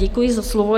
Děkuji za slovo.